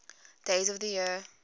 days of the year